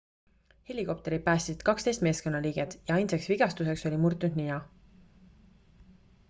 helikopterid päästsid 12 meeskonnaliiget ja ainsaks vigastuseks oli murtud nina